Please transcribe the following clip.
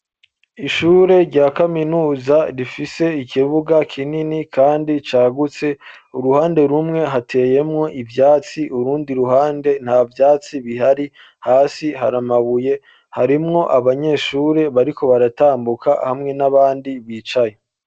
Ishure rya kaminuza rifise ikibuga kinini kandi cagutse, uruhande rumwe hateyemwo ivyatsi, urundi ruhande nta vyatsi bihari, hasi hari amabuye, harimwo abanyeshure bariko baratambuka hamwe n'abandi bicaye.